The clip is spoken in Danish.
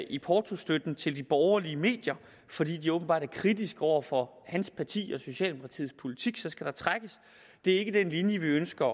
i portostøtten til de borgerlige medier fordi de åbenbart er kritiske over for hans parti og socialdemokratiets politik det er ikke den linje vi ønsker